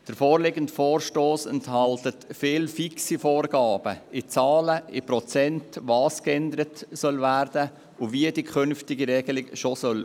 Der vorliegende Vorstoss enthält viele fixe Vorgaben in Zahlen in Prozenten und dahingehend, was geändert werden soll und wie die künftige Regelung aussehen soll.